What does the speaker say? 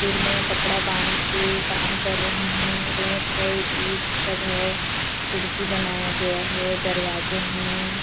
सिर में कपडा बांधके काम कर रही है रेत है ईट सब है खिड़की बनाया गया है दरवाजे हैं ।